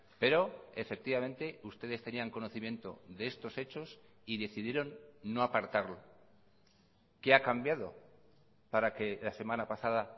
pero efectivamente ustedes tenían conocimiento de estos hechos y decidieron no apartarlo qué ha cambiado para que la semana pasada